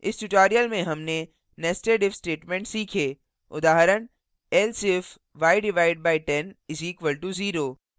इस tutorial में हमने nested if statement सीखे